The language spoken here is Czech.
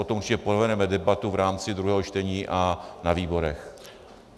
O tom určitě povedeme debatu v rámci druhého čtení a na výborech.